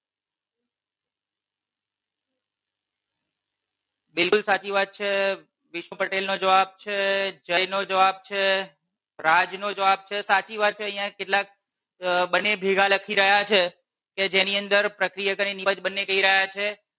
બિલકુલ સાચી વાત છે. વિષ્ણુ પટેલ નો જવાબ છે જય નો જવાબ છે રાજ નો જવાબ છે સાચી વાત છે અહિયાં કેટલાક બંને ભેગા લખી રહ્યા છે કે જેની અંદર પ્રક્રિયક અને નિપજ બંને કહી રહ્યા છે,